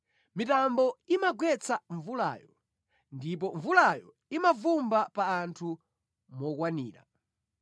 mitambo imagwetsa mvulayo ndipo mvulayo imavumbwa pa anthu mokwanira.